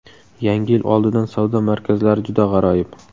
Yangi yil oldidan savdo markazlari juda g‘aroyib!